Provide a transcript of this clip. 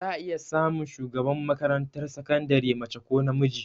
Za a iya samun shugaban makarantar sakandire mace ko namiji